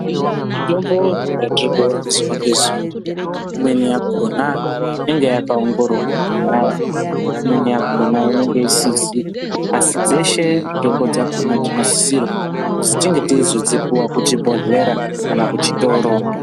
Mitombo yatiri kuona zuwa nezuwa imweni yakona inenge yakaongororwa kudhaya imweni yakona inenge isizi asi dzeshe mitombo dzakona tinosisirwa kuti tinge teizodzipuwa kuchibhodhlera kana kuchitoro.